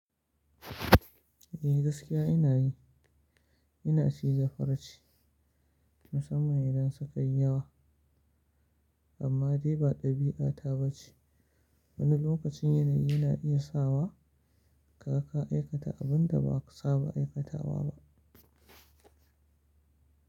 Eh gaskiya ina yi, ina ciza farce musamman idan sukayi yawa, amma dai ba ɗabi'ata ba ce. Wani lokacin yanayi na iya sawa ka ka aikata abin da ba ka saba aikatawa ba.